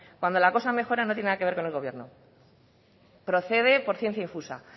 cuando la cosa mejora no tiene nada que ver con el gobierno procede por ciencia infusa